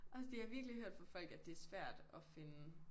Også fordi jeg har virkelig hørt fra folk at det er svært at finde